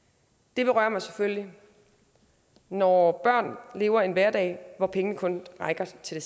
det berører mig selvfølgelig når børn lever en hverdag hvor pengene kun rækker til